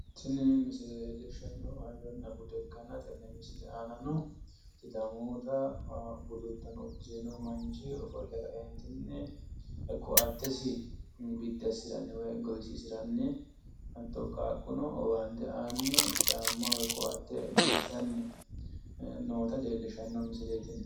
Tini misile leellishshannohu hayyonna bude ikkanna tenne misile aanano sidamuyiita budu uddano uddire noo manchi ofolle ka"entinni ko"attesi biddi assiranni woy gowisiisiranni hatto qaaqqono owaante aanni caamma woy koatte biifisanni noota leellishshanno misileeti tini.